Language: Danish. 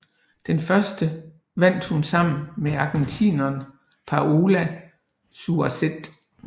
Den første vandt hun sammen med argentineren Paola Suárez